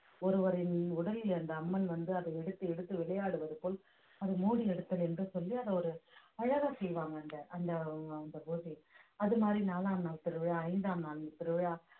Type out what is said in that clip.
ஒருவரின் உடலிலிருந்து அம்மன் வந்து அதை எடுத்து எடுத்து விளையாடுவது போல் அதை மூடி எடுத்தல் என்று சொல்லி அதை ஒரு அழகா செய்வாங்க அந்த அந்த அந்த பூஜை அது மாதிரி நாலாம் நாள் திருவிழா ஐந்தாம் நாள் திருவிழா